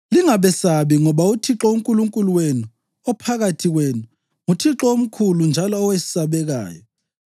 Lingabesabi, ngoba uThixo uNkulunkulu wenu ophakathi kwenu, nguThixo omkhulu njalo owesabekayo.